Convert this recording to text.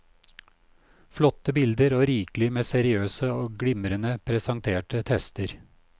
Flotte bilder og rikelig med seriøse og glimrende presenterte tester.